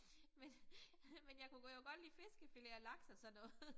Men men jeg kunne godt jo lide fiskefilet og laks og sådan noget